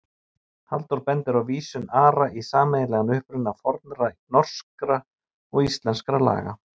Halldór bendir á vísun Ara í sameiginlegan uppruna fornra norskra og íslenskra laga.